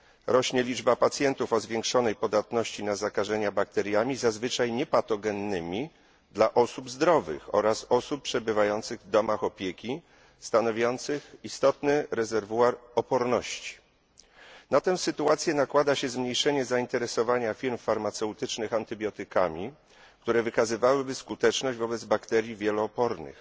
Rośnie liczba pacjentów o zwiększonej podatności na zakażenia bakteriami zazwyczaj niepatogennymi dla osób zdrowych oraz osób przebywających w domach opieki stanowiących istotny rezerwuar oporności. Na te sytuację nakłada się zmniejszenia zainteresowania firm farmaceutycznych antybiotykami, które wykazywałyby skuteczność wobec bakterii wielo opornych.